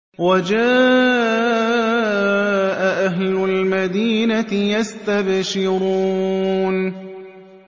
وَجَاءَ أَهْلُ الْمَدِينَةِ يَسْتَبْشِرُونَ